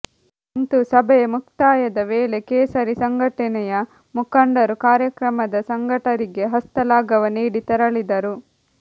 ಅಂತೂ ಸಭೆಯ ಮುಕ್ತಾಯದ ವೇಳೆ ಕೇಸರಿ ಸಂಘಟನೆಯ ಮುಖಂಡರು ಕಾರ್ಯಕ್ರಮದ ಸಂಘಟಕರಿಗೆ ಹಸ್ತಲಾಘವ ನೀಡಿ ತೆರಳಿದರು